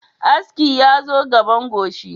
Aski yazo gaban goshi